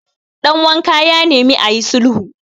danwanka ya nemi a yi sulhu